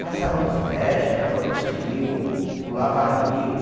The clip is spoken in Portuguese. Passava nos brejo, entrava nos rio, pulava rio.